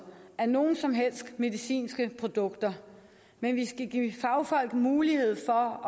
af nogen som helst medicinske produkter men vi skal give fagfolk mulighed for